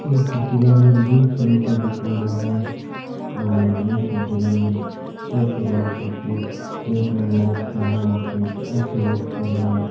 इ फोटो के अंदर जिम सेंटर दिखाईडॉ है और जिम सेंटर के अंदर हर प्रकार से सेहत ने बना सका हा सेहत अच्छी रह सके है।